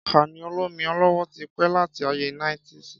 Kàní òlòmí ọlọwọ ti pẹ làtí àyé níetísì